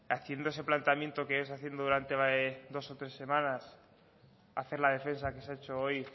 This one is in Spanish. haciendo ese planteamiento que es haciendo durante hace dos o tres semanas hacer la defensa que se ha hecho hoy